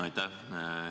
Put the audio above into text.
Aitäh!